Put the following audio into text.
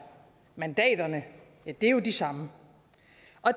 mandaterne er jo de samme